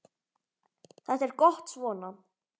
Þetta er gott svona.